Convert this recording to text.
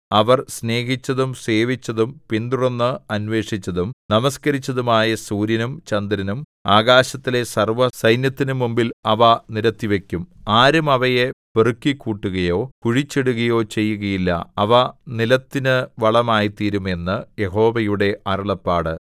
അവർ സ്നേഹിച്ചതും സേവിച്ചതും പിന്തുടർന്ന് അന്വേഷിച്ചതും നമസ്കരിച്ചതുമായ സൂര്യനും ചന്ദ്രനും ആകാശത്തിലെ സർവ്വസൈന്യത്തിനും മുമ്പിൽ അവ നിരത്തിവക്കും ആരും അവയെ പെറുക്കിക്കൂട്ടുകയോ കുഴിച്ചിടുകയോ ചെയ്യുകയില്ല അവ നിലത്തിനു വളമായിത്തീരും എന്ന് യഹോവയുടെ അരുളപ്പാട്